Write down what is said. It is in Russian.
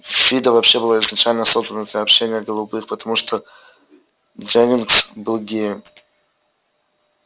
фидо вообще была изначально создана для общения голубых потому что дженнингс был геем